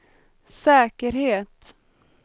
säkerhet